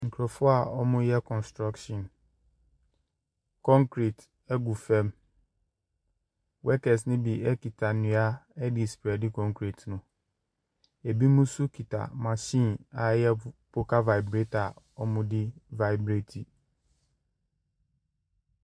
Nkurɔfoɔ a wɔreyɛ kɔnstruction. Concrete gu fam. Workers no bi kita nnua de respeade concrete no. Binom nso kita machine a ɛyɛ po poka vibrator a wɔde revibrati.